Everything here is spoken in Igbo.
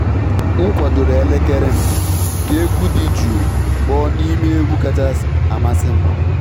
M kwadoro elekere m ka egwu dị jụụ kpọọ n'ime egwu kacha amasị m.